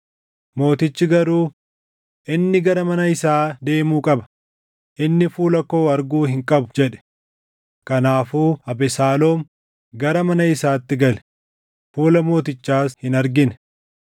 Mootichi garuu, “Inni gara mana isaa deemuu qaba; inni fuula koo arguu hin qabu” jedhe. Kanaafuu Abesaaloom gara mana isaatti gale; fuula mootichaas hin argine.